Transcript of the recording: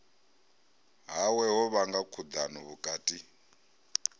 hawe ho vhanga khudano vhukati